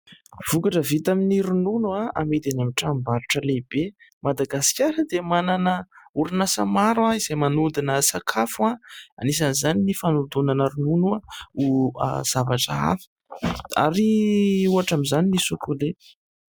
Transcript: Vokatra vita amin'ny ronono amidy any amin'ny tranom-barotra lehibe. Madagasikara dia manana orinasa maro izay manodina sakafo ; anisan'izany ny fanodinana ronono ho zavatra hafa, ary ohatra amin'izany ny"Socolait".